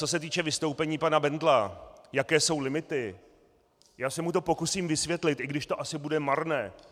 Co se týče vystoupení pana Bendla, jaké jsou limity, já se mu to pokusím vysvětlit, i když to asi bude marné.